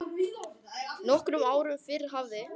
Nokkrum árum fyrr hafði